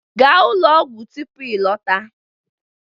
Gaa ụlọ ọgwụ tupu ịlọta!